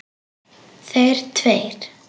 Þeir tveir.